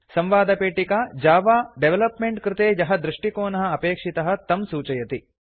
संवादपेटिका Java development कृते यः दृष्टिकोणः अपेक्षितः तं सूचयति